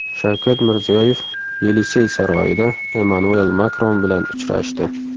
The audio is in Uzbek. Shavkat Mirziyoyev Yelisey saroyida Emmanuel Makron bilan uchrashdi.